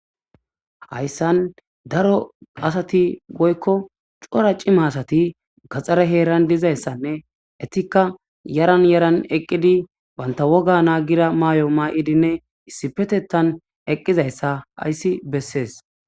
hayssan daro asati woykko cora cima asati gaxxare heeran dizayssanne etikka yaran yaran eqqidi banta woga naa gira maayo maaidinne issipetettan eqqizayssa hayssi bessees